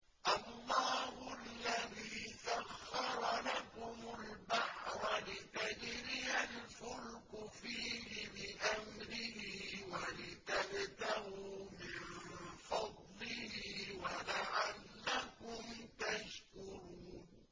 ۞ اللَّهُ الَّذِي سَخَّرَ لَكُمُ الْبَحْرَ لِتَجْرِيَ الْفُلْكُ فِيهِ بِأَمْرِهِ وَلِتَبْتَغُوا مِن فَضْلِهِ وَلَعَلَّكُمْ تَشْكُرُونَ